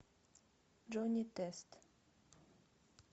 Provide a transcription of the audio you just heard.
джонни тест